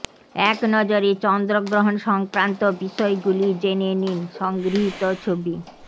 একনজরে চন্দ্রগ্রহণ সংক্রান্ত বিষয়গুলি জেনে নিন সংগৃহীত ছবি